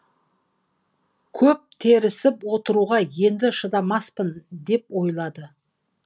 көп тіресіп отыруға енді шыдамаспын деп ойлады